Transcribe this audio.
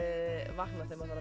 vakna þegar maður